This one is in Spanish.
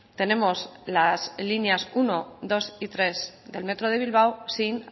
tenemos las líneas uno dos y tres del metro de bilbao sin